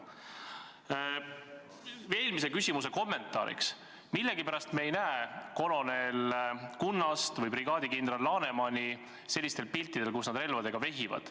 Eelmise küsimuse kommentaariks: millegipärast me ei näe kolonelleitnant Kunnast või brigaadikindral Lanemani sellistel piltidel, kus nad relvadega vehivad.